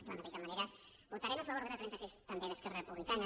i de la mateixa manera votarem a favor de la trenta sis també d’esquerra republicana